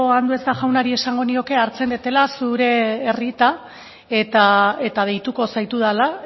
andueza jaunari esango nioke hartzen dudala zure errieta eta deituko zaitudala